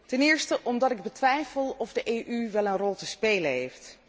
Ten eerste omdat ik betwijfel of de EU wel een rol te spelen heeft.